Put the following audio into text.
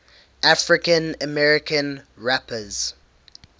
african american rappers